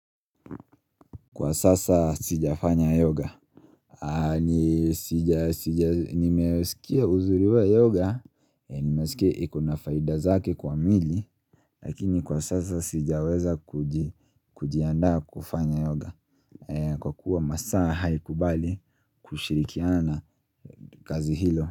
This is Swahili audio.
Kwa sasa sijafanya yoga Nimesikia uzuri wa hiyo yoga, nimesikia iko na faida zake kwa miili Lakini kwa sasa sijaweza kujiandaa kufanya yoga Kwa kuwa masaa haikubali kushirikiana na kazi hilo.